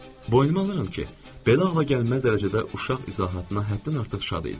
Boynuma alıram ki, belə ağla gəlməz dərəcədə uşaq izahatına həddən artıq şad idim.